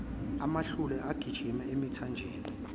amahlule agijima emithanjeni